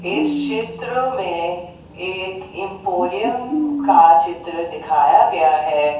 इस क्षेत्र में एक एंपोरियम का चित्र दिखाया गया है।